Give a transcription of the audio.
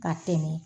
Ka tɛmɛ